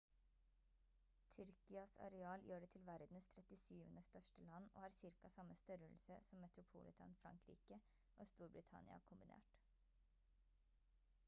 tyrkias areal gjør det til verdens trettisyvende største land og har cirka samme størrelse som metropolitan frankrike og storbritannia kombinert